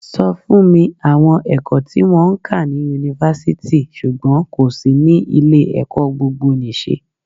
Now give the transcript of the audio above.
Sọ fún mi àwọn ẹ̀kọ́ tí wón ń kà ni Yunifasiti ṣùgbọ́n kò sí ní ilé ẹ̀kọ́ gbogbo nì ṣe?